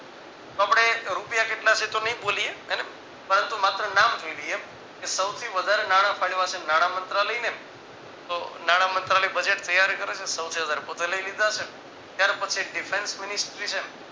તો આપણે રૂપિયા કેટલા છે એ તો નઈ બોલીએ હેને પરંતુ માત્ર નામ જોઈ લઈએ કે સૌથી વધારે નાના ફાડવા છે નાણામંત્રાલયને તો નાણામંત્રાયલને તો નાણામંત્રાલય budget ત્યાર કરે છે સૌથી વધારે પોતે લઇ લીધા હશે ત્યાર પછી defance ministry છે ને